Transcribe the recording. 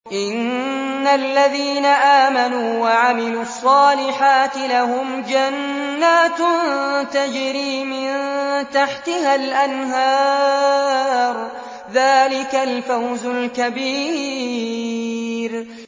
إِنَّ الَّذِينَ آمَنُوا وَعَمِلُوا الصَّالِحَاتِ لَهُمْ جَنَّاتٌ تَجْرِي مِن تَحْتِهَا الْأَنْهَارُ ۚ ذَٰلِكَ الْفَوْزُ الْكَبِيرُ